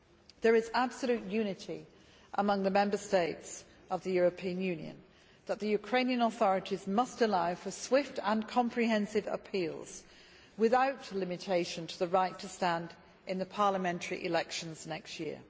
There is absolute unity among the Member States of the European Union that the Ukrainian authorities must allow for swift and comprehensive appeals, without limitations to the right to stand in the parliamentary elections next year.